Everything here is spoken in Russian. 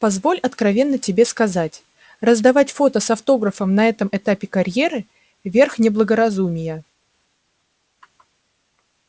позволь откровенно тебе сказать раздавать фото с автографом на этом этапе карьеры верх неблагоразумия